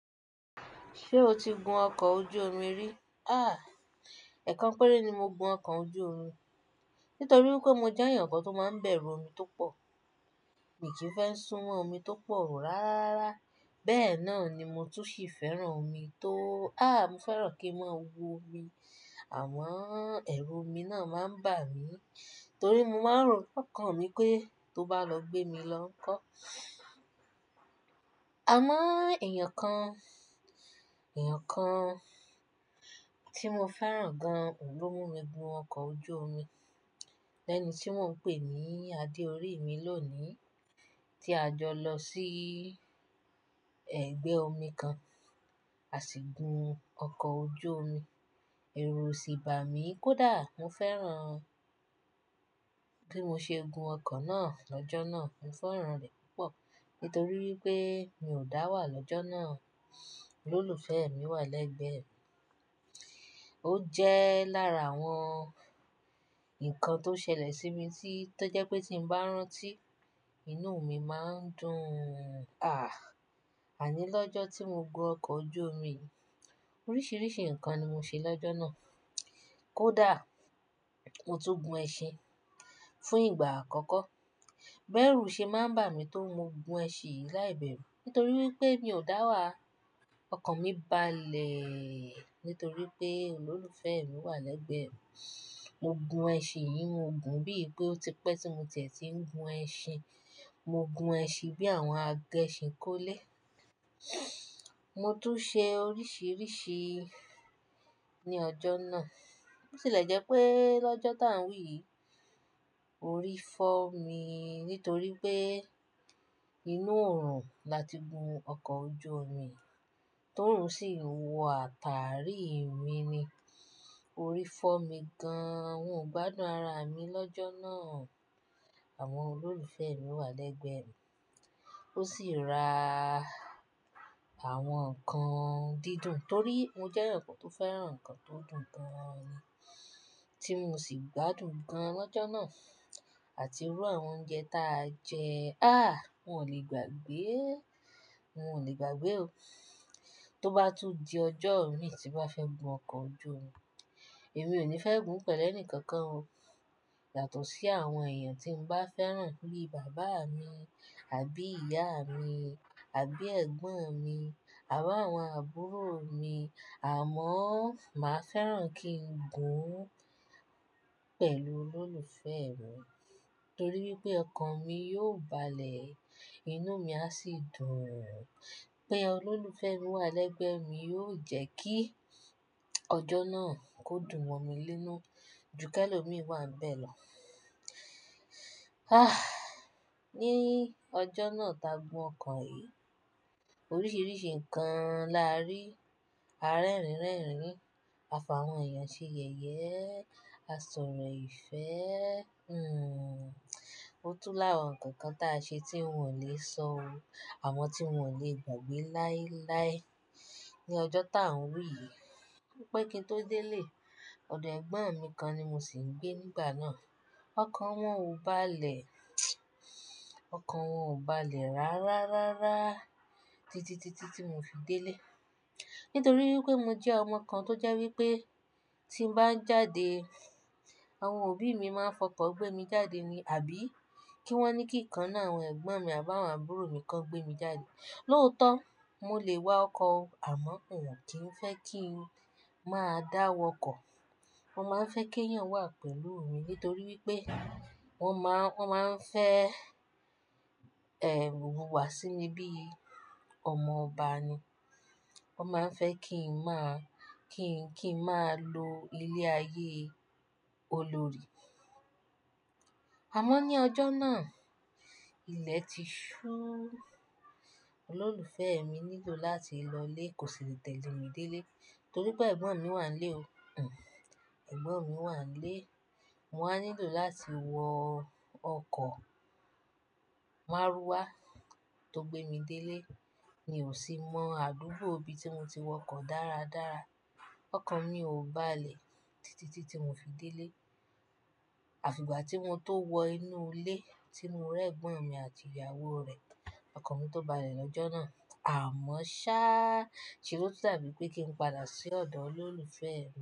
Ṣé o ti gun ọkọ̀ ojú omi rí? Àh, ẹ̀ẹ̀kan péré ni mo gun ọkọ̀ ojú omi nítorí wípé mo jẹ́ ẹ̀yàn kan tó máa ń bẹ̀rù omi tó pọ̀. Mi kìí fẹ́ súnmọ́ omi tó pọ̀ rárá rárá. Bẹ́ẹ̀ náà ni mo tún ṣì fẹ́ràn omi tó, àh, mo fẹ́ràn kí n máa wo omi. Àmọ́ ẹ̀rù omi náà máa ń bà mí torí mo máa ń rò lọkàn mi pé tó bá lọ gbé mi lọ́kọ. Àmọ́ èèyàn kan, èèyàn kan tí mo fẹ́ràn gan an óun lọ mú mi gun ọkọ̀ ojú omi lẹ́ni tí mọ ń pè ní adé orí mi lónìí tí a jọ lọ sí ẹ̀gbẹ́ omi kan, a sì gun ọkọ̀ ojú omi. Ẹ̀rù o sì bà mí kódà mo fẹ́ràn bí mo ṣe gun ọkọ̀ náà lọ́jọ́ náà. Mo fẹ́ràn rẹ̀ púpọ̀ nítorí wípé mi ò dá wà lọ́jọ́ náà. Olólùfẹ́ mi wà lẹ́gbẹ̀ẹ́ mi. Ó jẹ́ lára àwọn nǹkan tó ṣẹlẹ̀ sí mi tí tọ jẹ́ pé tí mo bá rántí, inú mi máa ń dùn un. Àní lọ́jọ́ tí mo gun ọkọ̀ ojú omi, oríṣiríṣi nǹkan ni mo ṣe lọ́jọ́ náà. Kódà mo tún gun ẹṣin fún ìgbà àkọ́kọ́. Bẹ́erù ṣe máa ń bà mí tó mo gun ẹṣin láìbẹ̀rù nítorí wípé mi ò dá wà. Ọkàn mi báalè nítorí pé olólùfẹ́ mi wà lẹ́gbẹ̀ẹ́ mi. Mo gun ẹṣin yìí mo gùn bí i pé ó ti pẹ́ tí mo tẹ̀ tí ń gun ẹṣin. Mo gun ẹṣin bí àwọn agẹṣin kọ́ lẹ̀. Mo tún ṣe oríṣiríṣi ní ọjọ́ náà. Ó tì lẹ̀ jẹ́ pé lọ́jọ́ tá ń wí yìí, orí fọ́ mi nítorí pé inú oòrùn la ti gun ọkọ̀ ojú omi tóruń sì wọ àtàrí mi ni. Orí fọ́ mi gan an. Wọ ò gbádùn ara mi lọ́jọ́ náà. Àwọn olólùfẹ́ mi wà lẹ́gbẹ̀ẹ́ mi. Ó sì ra àwọn nǹkan dídùn torí mo jẹ́ ẹ̀yàn kan tó fẹ́ràn nǹkan tó dùn gan an ni, tí mo sì gbádùn gan an lọ́jọ́ náà àti irú àwọn oúnjẹ tí a jẹ. Àh, wọ ò lè gbàgbé. Wọn ò lè gbàgbé o. Tó bá tún di ọjọ́ ìmí tí bá fẹ́ gun ọkọ̀ ojú omi, èmi ò ní fẹ́ gùn pẹ̀lú ẹni kankan o yàtọ̀ sí àwọn èèyàn tí mo bá fẹ́ràn bíi bàbá mi àbí ìyá mi, àbí ẹ̀gbọ́n mi àbá àwọn àbúrò mi. Àmọ́ màá fẹ́ràn kí n gùn un pẹ̀lú olólùfẹ́ mi torí wípé ọkan mi yóò bá lè, inú mi a sì dùn pé olólùfẹ́ mi wà lẹ́gbẹ̀ẹ́ mi yóò jẹ́ kí ọjọ́ náà kó dùn mọ mi lẹ́nu ju kí ẹlòmí wà n bẹ́ lọ. A! Ní ọjọ́ náà tá gun ọkọ̀ yìí, oríṣiríṣi nǹkan la rí, àrerin rerin, àfààwọn èèyàn ṣe yẹ̀yẹ́, a sọ̀rọ̀ ìfẹ́. Hmm, ó tún lá àwọn nǹkan kan tí a ṣe tí wọ ò ni sọ o àmọ́ tí wọ ò lè gbàgbé láíláí ní ọjọ́ tá ń wí yìí. Pẹ́ kí n tó délé, ọ̀dọ̀ ẹ̀gbọ́n mi kan ni mo sì ń gbé nígbà náà. Ọkọ̀ wọn ò bá lè, ọkọ̀ wọn ò bá lè rárá, rárá, títití tí mo fi délé. Nítorí wípé mo jẹ́ ọmọ kan tó jẹ́ wípé tí n bá ń jáde, àwọn òbí mi máa ń fọkọ̀ gbé mi jáde ni àbí kí wọ́n ní kí kan ninu àwọn ẹ̀gbọ́n mi àbá àwọn àbúrò mi kó gbé mi jáde. Lóótọ́ mọ lè wa ọkọ̀, àmọ́ wọn o kìí fẹ́ kí n máa dá wọ́kọ̀. Wọ́n máa ń fẹ́ kí ẹ̀yàn wà pẹ̀lú mi nítorí wípé wọ́n máa ń fẹ́, ẹ́, ìwùwà símí bíi ọmọ ọba ni. Wọ́n máa ń fẹ́ kí n máa, kí n, kí n máa lo ilé ayé olórí. Àmọ́ ní ọjọ́ náà ilẹ̀ ti ṣú. Olólùfẹ́ mi nílò láti lọlé, kò sì lẹ tẹ̀lé mi délé torí pé ẹ̀gbọ́n mi wà nílé o. Hmm, ẹ̀gbọ́n mi wà nílé. Mo wá nílò láti wọ ọkọ̀ márúwá tó gbé mi délé. Mi ò sì mọ àdúgbò ibi tí mo ti wọkọ̀ dáradára. Ọkàn mi ò bá lè títití tí mo fi délé. Àfi ìgbà tí mo tó wọ inú ilé tí mo rẹ́ ẹ̀gbọ́n mi àti ìyàwó rẹ̀, ọkàn mi tó bá lè lọ́jọ́ náà. Àmọ́ ṣáà ṣe ló dàbí bẹ́ pé kí n padà sí ọ̀dọ̀ olólùfẹ́ mi.